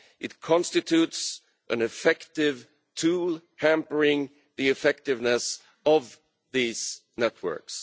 It constitutes an effective tool, hampering the effectiveness of these networks.